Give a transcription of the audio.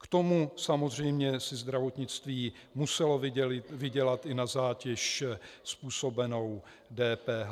K tomu samozřejmě si zdravotnictví muselo vydělat i na zátěž způsobenou DPH.